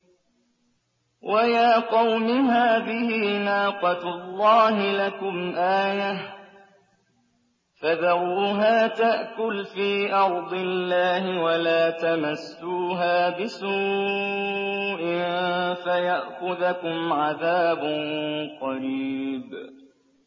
وَيَا قَوْمِ هَٰذِهِ نَاقَةُ اللَّهِ لَكُمْ آيَةً فَذَرُوهَا تَأْكُلْ فِي أَرْضِ اللَّهِ وَلَا تَمَسُّوهَا بِسُوءٍ فَيَأْخُذَكُمْ عَذَابٌ قَرِيبٌ